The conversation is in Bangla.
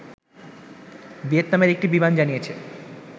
ভিয়েতনামের একটি বিমান জানিয়েছে